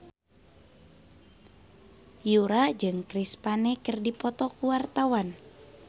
Yura jeung Chris Pane keur dipoto ku wartawan